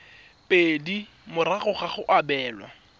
pedi morago ga go abelwa